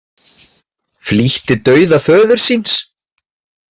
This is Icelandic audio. Flýtti dauða föður síns